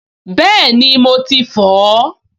Bẹ́ẹ̀ni, mo ti fọ̀ ọ́